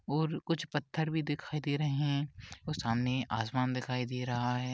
और कुछ पत्थर भी दिखाई दे रहे है और सामने आसमान दिखाई दे रहा है।